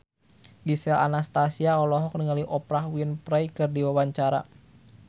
Gisel Anastasia olohok ningali Oprah Winfrey keur diwawancara